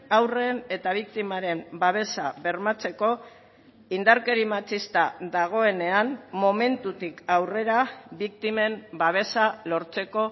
haurren eta biktimaren babesa bermatzeko indarkeri matxista dagoenean momentutik aurrera biktimen babesa lortzeko